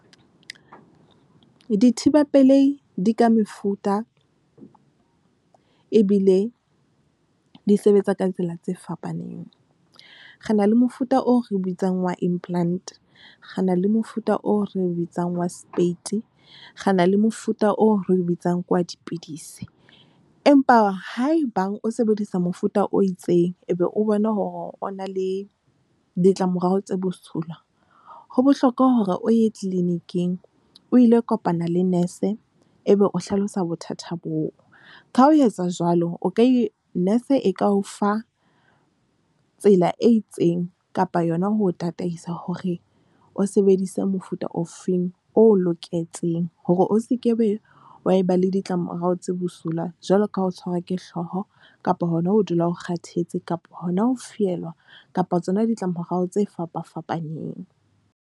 Dithibapelei di ka mefuta ebile di sebetsa ka tsela tse fapaneng. Re na le mofuta oo re bitsang wa implant re na le mofuta oo re bitsang wa speiti re na le mofuta oo re bitsang ke wa dipidisi. Empa ha ebang o sebedisa mofuta o itseng, ebe o bona hore o na le ditlamorao tse bosula ho bohlokwa hore o ye clinic-ing, o ile kopana le nurse ebe o hlalosa bothata boo. Ka ho etsa jwalo o ka nurse e ka o fa tsela e itseng kapa yona ho tataisa hore o sebedise mofuta ofeng oo loketseng hore o sekebe wa ba le ditlamorao tse bosula jwalo ka ho tshwarwa ke hlooho kapa hona ho dula o kgathetse kapa hona ho fihlela kapa tsona ditla morao tse fapafapaneng.